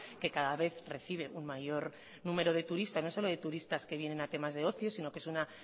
que cada vez recibe un mayor número de turistas no solo de turistas que vienen a temas de ocio sino que es una